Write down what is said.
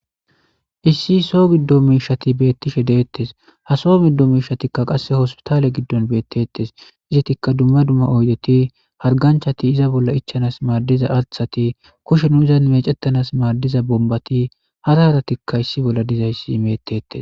Issi soo giddo miishshati betishe de'etes ha so gido mishati qase hosputaale gidon betetes duma duma oydeti harganchati izabolla madiza kushe mechetiza diza bombati issi bolla dizay betetes